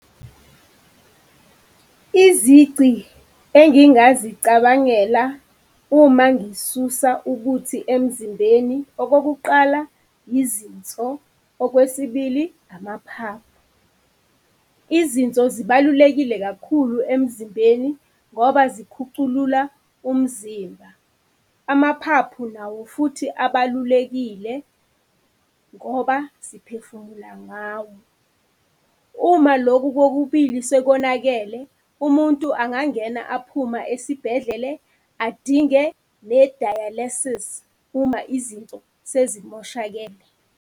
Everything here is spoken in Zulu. Izici engingazicabangela uma ngisusa ubuthi emzimbeni, okokuqala, yizinso, okwesibili, amaphaphu. Izinso zibalulekile kakhulu emzimbeni ngoba zikhuculula umzimba. Amaphaphu nawo futhi abalulekile ngoba siphefumula ngawo. Uma lokhu kokubili sekonakele, umuntu angangena aphuma esibhedlele adinge ne-dialysis uma izinto sezimoshakele.